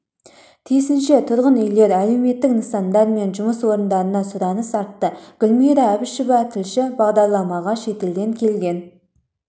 тиісінше тұрғын үйлер әлеуметтік нысандар мен жұмыс орындарына сұраныс артты гүлмира әбішева тілші бағдарламаға шетелден келген